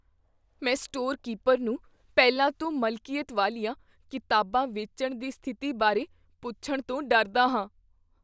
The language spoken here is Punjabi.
ਮੈਂ ਸਟੋਰ ਕੀਪਰ ਨੂੰ ਪਹਿਲਾਂ ਤੋਂ ਮਲਕੀਅਤ ਵਾਲੀਆਂ ਕਿਤਾਬਾਂ ਵੇਚਣ ਦੀ ਸਥਿਤੀ ਬਾਰੇ ਪੁੱਛਣ ਤੋਂ ਡਰਦਾ ਹਾਂ।